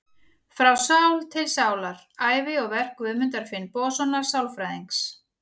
Frá sál til sálar: Ævi og verk Guðmundar Finnbogasonar sálfræðings.